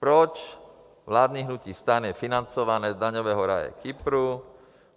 Proč vládní hnutí STAN je financováno z daňového ráje Kypru?